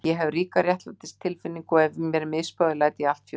Ég hef ríka réttlætistilfinningu og ef mér er misboðið læt ég allt fjúka.